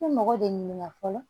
I bɛ mɔgɔ de ɲininka fɔlɔ